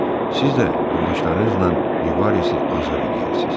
Siz də yoldaşlarınızla Rivari azad eləyərsiz.